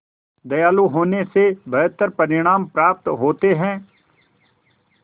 दयालु होने से बेहतर परिणाम प्राप्त होते हैं